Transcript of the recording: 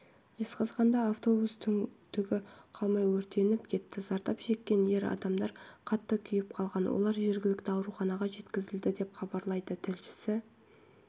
жезқазғанда автобус түгі қалмай өртеніп кетті зардап шеккен ер адамдар қатты күйіп қалған олар жергілікті ауруханаға жеткізілді деп хабарлайды тілшісі